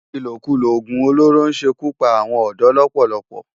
Ilókúló ógún ólóró n ṣé kú pá áwòn òdò lòpòlòpò